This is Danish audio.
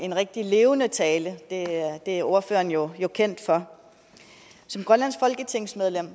en rigtig levende tale det er ordføreren jo kendt for som grønlandsk folketingsmedlem